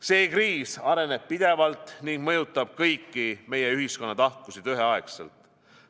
See kriis areneb pidevalt ning mõjutab kõiki meie ühiskonna tahkusid üheaegselt.